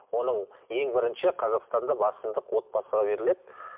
оның ең бірінші қазақстанда басымдық отбасыға беріледі